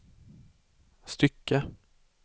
stycke